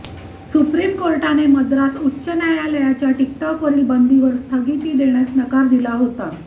supreme कोर्टाने मद्रास उच्च न्यायालयाच्या टिक टॉकवरील बंदीवर स्थगिती देण्यास नकार दिला होता